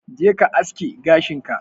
Jeka ka aske gashin ka.